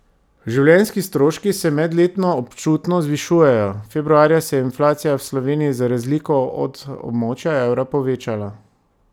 Življenjski stroški se medletno občutno zvišujejo, februarja se je inflacija v Sloveniji za razliko od območja evra povečala.